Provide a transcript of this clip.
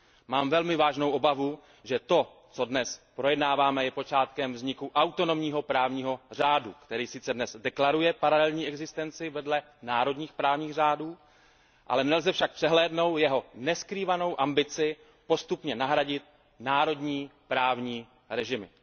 Mám velmi vážnou obavu, že to, co dnes projednáváme, je počátkem vzniku autonomního právního řádu, který sice dnes deklaruje paralelní existenci vedle národních právních řádů, ale nelze však přehlédnout jeho neskrývanou ambici postupně nahradit národní právní režimy.